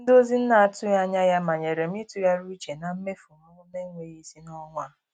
Ndozi na-atụghị anya ya manyere m ịtụgharị uche na mmefu m na-enweghị isi n'ọnwa a.